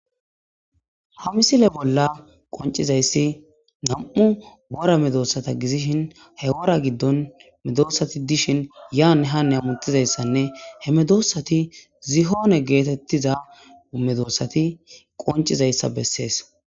Ha misile bolla qonccizayssi nami'u wora medisata gidishin he wora giddon medosati dishin yanne hanne hamuttizayssanne he medosati zihone geetettiza medosati qonccidosona